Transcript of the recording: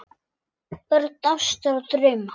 Börn ástar og drauma